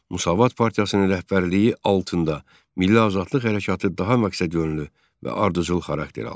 Müsavat Partiyasının rəhbərliyi altında Milli Azadlıq Hərəkatı daha məqsədyönlü və ardıcıl xarakter aldı.